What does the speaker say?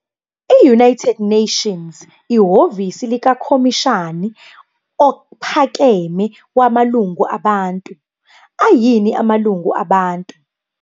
The United Nations, Office of the High Commissioner of Human Rights, What are human rights?